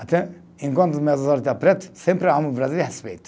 Até enquanto meus olho está preto, sempre amo o Brasil e respeito.